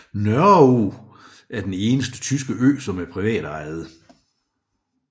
Nørreog er den eneste tyske ø som er privatejet